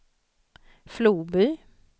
Floby